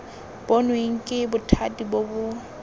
bonweng ke bothati bo bo